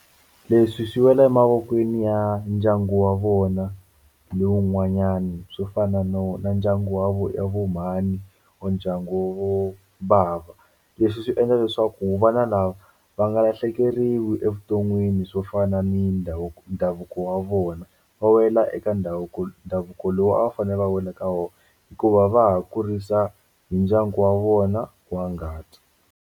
Leswi swi wela emavokweni ya ndyangu wa vona ni wun'wanyani swo fana no na ndyangu wa vo vo mhani or ndyangu vo bava leswi swi endla leswaku vana lava va nga lahlekeriwi evuton'wini swo fana ni ndhavuko ndhavuko wa vona va wela eka ndhavuko ndhavuko lowu a va fanele va wela ka wona hikuva va ha kurisa hi ndyangu wa vona wa ngati.